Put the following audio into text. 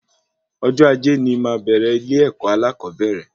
Ọjọ ajé ní máa bẹrẹ ilé-èkó alakobere